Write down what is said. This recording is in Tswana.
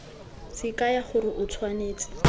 se kaya gore o tshwanetse